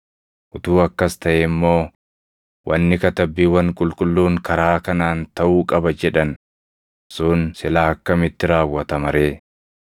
Utuu akkas taʼee immoo wanni Katabbiiwwan Qulqulluun karaa kanaan taʼuu qaba jedhan sun silaa akkamitti raawwatama ree?”